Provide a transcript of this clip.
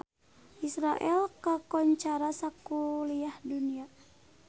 Israel kakoncara sakuliah dunya